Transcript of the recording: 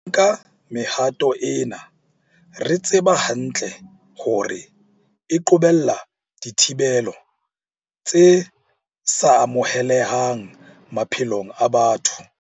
Re nka mehato ena re tseba hantle hore e qobella dithibelo tse sa amohelehang maphelong a batho.